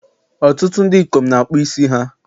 Ọtụtụ ndị ikom na akpụ isi ha